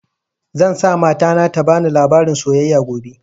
Zan sa mata na ta bani labarin soyayya gobe